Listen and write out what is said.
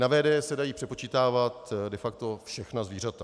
Na VDJ se dají přepočítávat de facto všechna zvířata.